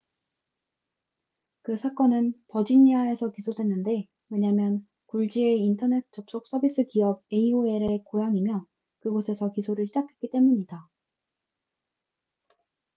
그 사건은 버지니아에서 기소됐는데 왜냐면 굴지의 인터넷 접속 서비스 기업 aol의 고향이며 그곳에서 기소를 시작했기 때문이다